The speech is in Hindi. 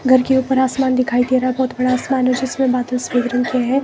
घर के ऊपर आसमान दिखाई दे रहा है बहोत बड़ा आसमान है जिसमें बदलस हैं।